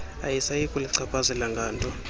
ayisayi kuluchaphazela nganto